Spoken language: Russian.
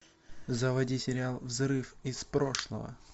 заводи сериал взрыв из прошлого